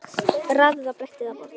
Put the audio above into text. Raðið á bretti eða borð.